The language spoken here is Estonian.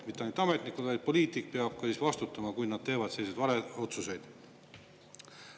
Mitte ainult ametnikud, vaid poliitik peab ka vastutama, kui nad teevad selliseid otsuseid.